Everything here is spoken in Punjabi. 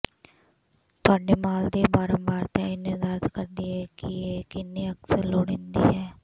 ਤੁਹਾਡੇ ਮਾਲ ਦੀ ਬਾਰੰਬਾਰਤਾ ਇਹ ਨਿਰਧਾਰਤ ਕਰਦੀ ਹੈ ਕਿ ਇਹ ਕਿੰਨੀ ਅਕਸਰ ਲੋੜੀਂਦੀ ਹੈ